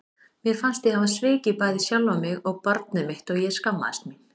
Mér fannst ég hafa svikið bæði sjálfa mig og barnið mitt og ég skammaðist mín.